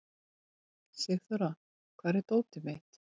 Sigþóra, hvar er dótið mitt?